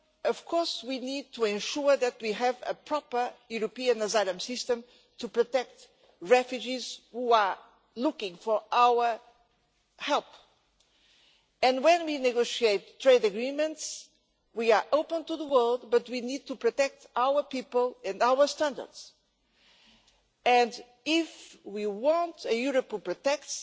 Of course we need to ensure that we have a proper European asylum system to protect refugees who are looking for our help, but when we negotiate trade agreements we need to ensure we are open to the world but we need to protect our people and our standards. If we want a Europe that protects,